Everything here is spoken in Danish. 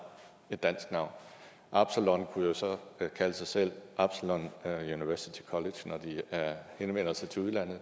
absalon kunne så kalde sig selv absalon university college når de henvender sig til udlandet